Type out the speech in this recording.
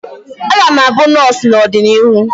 Aga m abụ nọọsụ n'ọdịnihu